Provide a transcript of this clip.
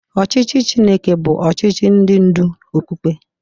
Ọchịchị Chineke bụ ọchịchị ndị ndú okpukpe.